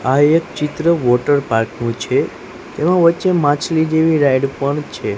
આ એક ચિત્ર વોટરપાર્ક નું છે એવો વચ્ચે માછલી જેવી રાઈડ પણ છે.